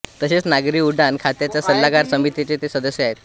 तसेच नागरी उड्डान खात्याच्या सल्लागार समितीचे ते सदस्य आहेत